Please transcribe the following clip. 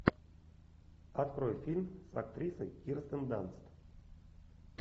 открой фильм с актрисой кирстен данст